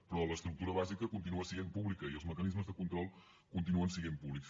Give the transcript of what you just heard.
però l’estructura bàsica continua sent pública i els mecanismes de control continuen sent públics